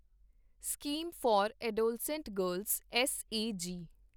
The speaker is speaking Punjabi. scheme for adolescent girls S A ਜੀ